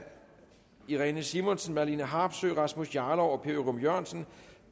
irene simonsen marlene harpsøe rasmus jarlov og per ørum jørgensen